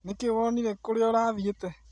Nĩ kĩĩ wonire kũrĩa ũrathiĩte?